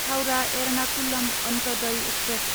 Howrah Ernakulam Antyodaya express